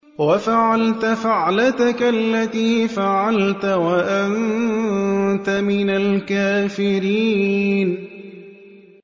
وَفَعَلْتَ فَعْلَتَكَ الَّتِي فَعَلْتَ وَأَنتَ مِنَ الْكَافِرِينَ